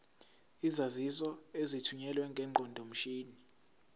izaziso ezithunyelwe ngeqondomshini